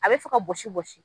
A bɛ fɛ ka bɔsi bɔsi.